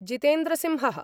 Jitendra Singh: